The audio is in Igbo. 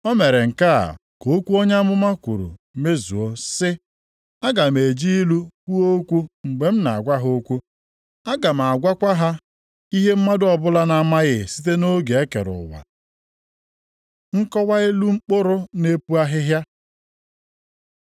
O mere nke a ka okwu onye amụma kwuru mezuo, sị, “Aga m eji ilu kwuo okwu mgbe m na-agwa ha okwu. Aga m agwakwa ha ihe mmadụ ọbụla na-amaghị site nʼoge e kere ụwa.” + 13:35 \+xt Abụ 78:2\+xt* Nkọwa ilu mkpụrụ na-epu ahịhịa